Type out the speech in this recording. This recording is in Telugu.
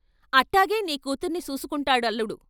అట్టాగే నీ కూతుర్నీ సూసుకుంటాడల్లుడు.